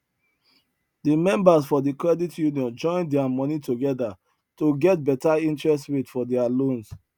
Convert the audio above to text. the members for the credit union join their money together to get better interest rate for their loans